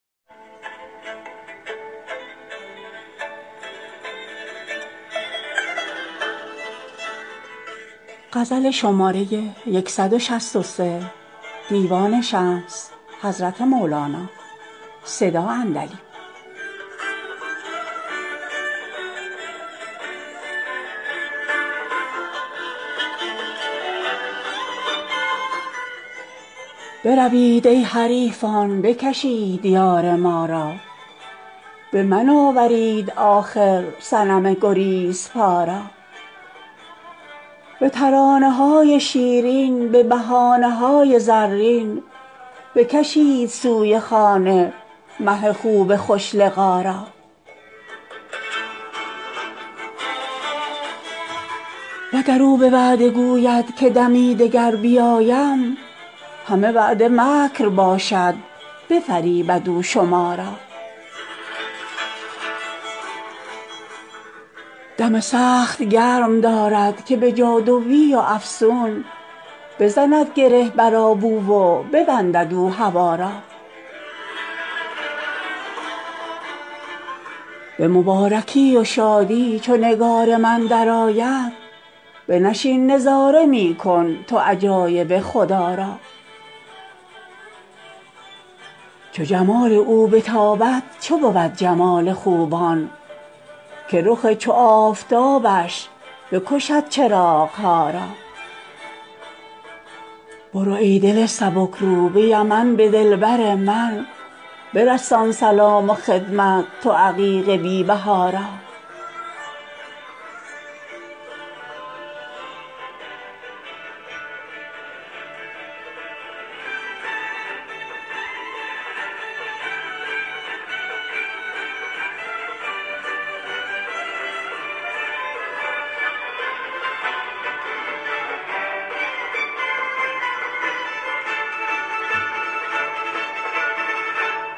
بروید ای حریفان بکشید یار ما را به من آورید آخر صنم گریزپا را به ترانه های شیرین به بهانه های زرین بکشید سوی خانه مه خوب خوش لقا را وگر او به وعده گوید که دمی دگر بیایم همه وعده مکر باشد بفریبد او شما را دم سخت گرم دارد که به جادوی و افسون بزند گره بر آب او و ببندد او هوا را به مبارکی و شادی چو نگار من درآید بنشین نظاره می کن تو عجایب خدا را چو جمال او بتابد چه بود جمال خوبان که رخ چو آفتابش بکشد چراغ ها را برو ای دل سبک رو به یمن به دلبر من برسان سلام و خدمت تو عقیق بی بها را